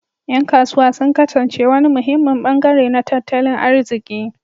Yan kasuwa sun kasance wani muhimmin bangare na tattalin arziki